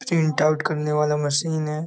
print out करने वाला machine है |